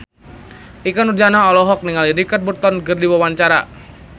Ikke Nurjanah olohok ningali Richard Burton keur diwawancara